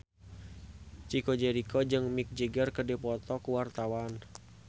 Chico Jericho jeung Mick Jagger keur dipoto ku wartawan